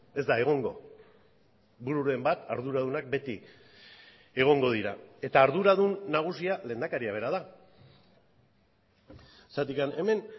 ez da egongo bururen bat arduradunak beti egongo dira eta arduradun nagusia lehendakaria bera da zergatik hemen